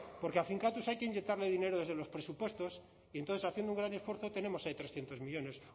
porque a finkatuz hay que inyectarle dinero desde los presupuestos y entonces haciendo un gran esfuerzo tenemos ahí trescientos millónes